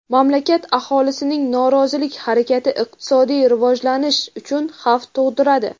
mamlakat aholisining norozilik harakati iqtisodiy rivojlanish uchun xavf tug‘diradi.